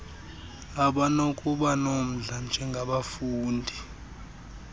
abanokuba nomdla njengabafundi